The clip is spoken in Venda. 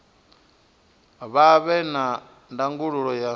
vha vhe na ndangulo ya